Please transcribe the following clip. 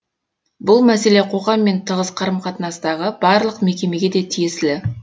бұл мәселе қоғаммен тығыз қарым қатынастағы барлық мекемеге де тиесілі